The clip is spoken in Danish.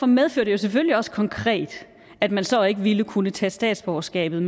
medfører jo selvfølgelig også konkret at man så ikke ville kunne tage statsborgerskabet